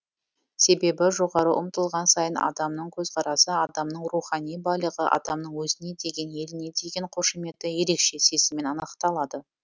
себебі жоғары ұмтылған сайын адамның көзқарасы адамның рухани байлығы адамның өзіне деген еліне деген қошаметі ерекше сезіммен анықталады